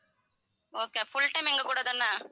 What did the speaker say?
okay full time எங்க கூட தான